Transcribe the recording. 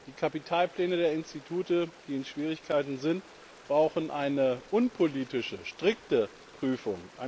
Die Kapitalpläne der Institute, die in Schwierigkeiten sind, brauchen eine unpolitische, strikte Prüfung.